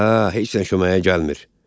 Hə, heç sən köməyə gəlmir.